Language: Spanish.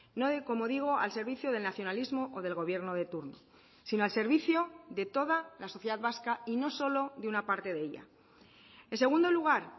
no de como digo al servicio del nacionalismo o del gobierno de turno sino al servicio de toda la sociedad vasca y no solo de una parte de ella en segundo lugar